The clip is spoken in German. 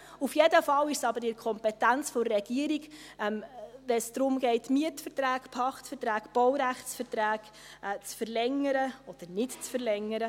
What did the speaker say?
Auf jeden Fall ist es aber in der Kompetenz der Regierung, wenn es darum geht, Mietverträge, Pachtverträge, Baurechtsverträge zu verlängern oder nicht zu verlängern.